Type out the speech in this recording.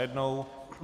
Najednou.